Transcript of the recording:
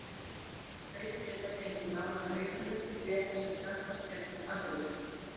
Hlaut að geta fengið lánaðan aukalykil rétt sem snöggvast hérna í afgreiðslunni.